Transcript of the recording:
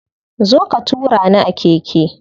Zo ka tura ni a keke.